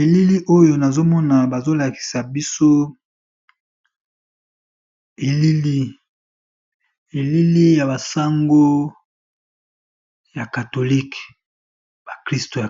Elili monene ya Pape, mokonzi ya Vatican na ba cardinal naye liboso ya